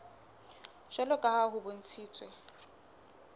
jwalo ka ha ho bontshitswe